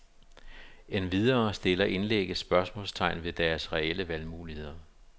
Endvidere stiller indlægget spørgsmålstegn ved deres reelle valgmuligheder.